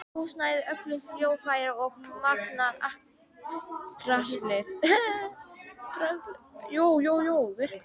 Húsnæði, öll hljóðfæri og magnara, allt draslið.